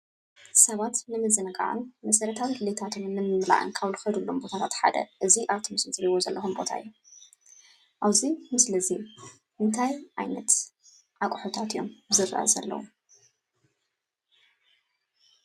ሰባት ንምዝንጋዕን መሰረታዊ ድሌታቶምን ንምምላእን ካብ ዝከድሎም ቦታታት ሓደ እዚ ኣብዚ ምስሊ እትርእይዎ ዘለኩም ቦታ እዩ። ኣብዚ ምስሊ እዙይ እንታይ ዓይነት ኣቁሑታት እዮም ዝርኣዩ ዘለው?